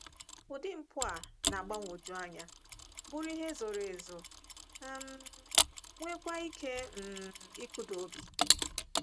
Ụdị mpụ a na-agbagwoju anya, bụrụ nke zoro ezo, um nweekwa ike um ịkụda obi.